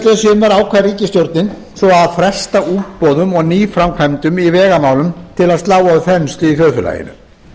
síðastliðið sumar ákvað ríkisstjórnin svo að fresta útboðum og nýframkvæmdum í vegamálum til að slá á þenslu í þjóðfélaginu